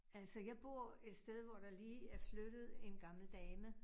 Altså jeg bor et sted, hvor der lige er flyttet en gammel dame